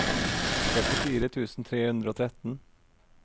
trettifire tusen tre hundre og tretten